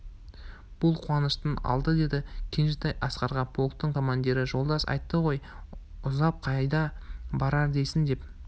бұл қуаныштың алды деді кенжетай асқарға полктың командирі жолдас айтты ғой ұзап қайда барар дейсің деп